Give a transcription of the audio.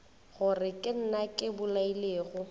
gore ke nna ke bolailego